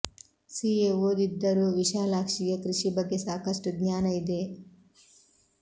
C A ಓದಿದ್ದರೂ ವಿಶಾಲಾಕ್ಷಿಗೆ ಕೃಷಿ ಬಗ್ಗೆ ಸಾಕಷ್ಟು ಜ್ಞಾನ ಇದೆ